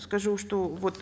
скажу что вот